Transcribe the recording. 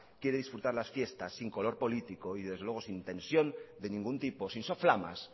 quiere disfrutar las fiestas sin color político y desde luego sin tensión de ningún tipo sin soflamas